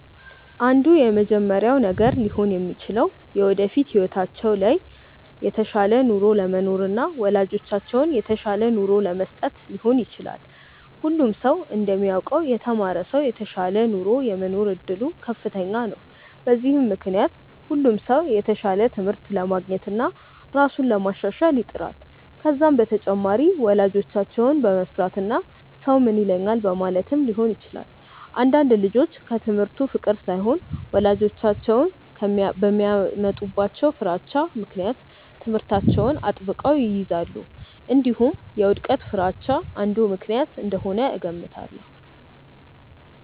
አንዱ የመጀመሪያው ነገር ሊሆን የሚችለው የወደፊት ህይወታቸው ላይ የተሻለ ኑሮ ለመኖርና ወላጆቻቸውን የተሻለ ኑሮ ለመስጠት ሊሆን ይችላል። ሁሉም ሰው እንደሚያውቀው የተማረ ሰው የተሻለ ኑሮ የመኖር እድሉ ከፍተኛ ነው። በዚህም ምክንያት ሁሉም ሰው የተሻለ ትምህርት ለማግኘትና ራሱን ለማሻሻል ይጥራል። ከዛም በተጨማሪ ወላጆቻቸውን በመፍራትና ሰው ምን ይለኛል በማለትም ሊሆን ይችላል። አንዳንድ ልጆች ከትምህርቱ ፍቅር ሳይሆን ወላጆቻቸው በሚያመጡባቸው ፍራቻ ምክንያት ትምህርታቸውን አጥብቀው ይይዛሉ። እንዲሁም የውድቀት ፍርሃቻ አንዱ ምክንያት እንደሆነ እገምታለሁ።